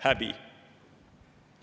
Häbi!